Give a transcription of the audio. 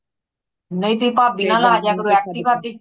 ਨਹੀਂ ਤੇ ਭਾਭੀ ਨਾਲ ਆ ਜਾਯਾ ਕਰੋ active ਤੇ